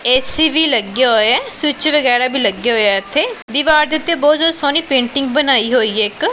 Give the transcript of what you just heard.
AC ਵੀ ਲੱਗਿਆ ਹੋਇਆ ਸਵਿਚ ਵਗੈਰਾ ਵੀ ਲੱਗੇ ਹੋਏ ਆ ਇਥੇ ਦੀਵਾਰ ਦੇ ਉੱਤੇ ਬਹੁਤ ਜਿਆਦਾ ਸੋਹਣੀ ਪੇਂਟਿੰਗ ਬਣਾਈ ਹੋਈ ਹੈ ਇੱਕ।